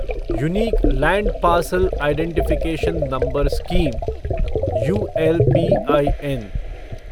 unique land parcel identification number scheme ULPIN